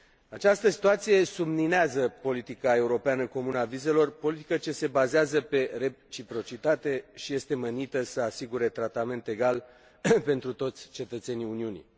Această situație subminează politica europeană comună a vizelor, politică ce se bazează pe reciprocitate și este menită să asigure un tratament egal pentru toți cetățenii Uniunii.